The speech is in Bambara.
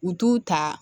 U t'u ta